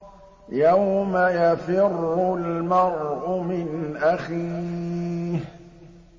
يَوْمَ يَفِرُّ الْمَرْءُ مِنْ أَخِيهِ